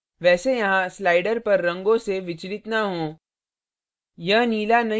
वैसे यहाँ slider पर रंगों से विचलित न हों